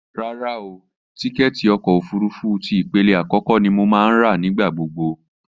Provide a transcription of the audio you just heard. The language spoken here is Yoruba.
Rárá o, tíkẹ́ẹ̀tì ọkọ̀ òfurufú ti ìpele àkọ́kọ́ ni mo máa ń rà nígbà gbogbo